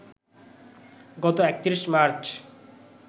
গত ৩১ মার্চ